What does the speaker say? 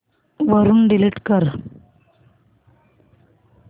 वरून डिलीट कर